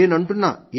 నేను అంటున్న ఎ